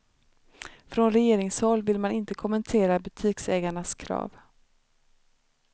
Från regeringshåll vill man inte kommentera butiksägarnas krav.